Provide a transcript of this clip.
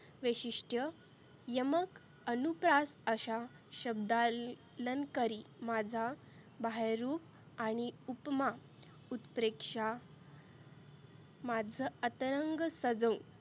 वैशिष्ट. यमक अनुप्रात अशा शब्दालंकरी माझा बाहाय्यरुप आणि उपमा उत्प्रेक्षा माझं अतरंग सजवून